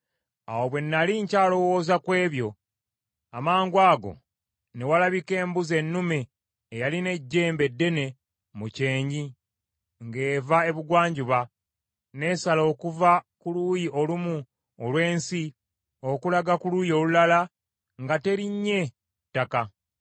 Awo bwe nnali nkyalowooza ku ebyo, amangwago ne walabika embuzi ennume eyalina ejjembe eddene mu kyenyi ng’eva ebugwanjuba, n’esala okuva ku luuyi olumu olw’ensi, okulaga ku luuyi olulala nga terinnye ku ttaka.